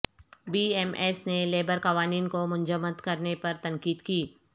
be M S نے labour قوانین کو منجمد کرنے پر تنقید کی